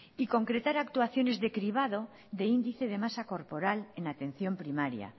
y concretar actuaciones de cribado de índice de masa corporal en atención primaria